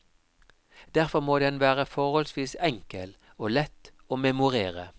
Derfor må den være forholdsvis enkel, og lett å memorere.